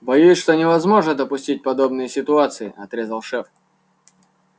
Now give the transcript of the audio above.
боюсь что невозможно допустить подобные ситуации отрезал шеф